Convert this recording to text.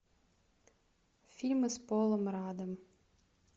фильмы с полом раддом